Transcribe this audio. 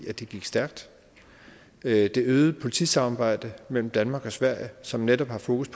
at det gik stærkt det øgede politisamarbejde mellem danmark og sverige som netop har fokus